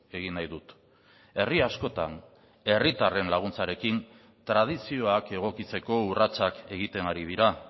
egin nahi dut herri askotan herritarren laguntzarekin tradizioak egokitzeko urratsak egiten ari dira